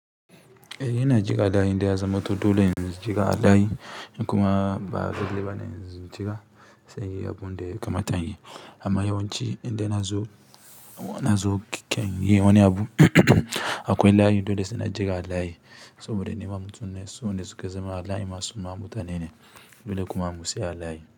Eh ina jikawa da inde ya zama dole in jiƙa dai kuma ba lallai ba ne in jiƙa sai inyi abu da ya kamata inyi. Amma yawanci inde na zo, na zo keken yi wani abu akwai layi dole sai na jiƙa a layi saboda nima mutum ne, su wayen da suke zama suma mutane ne dole kuma mu siyo adayi.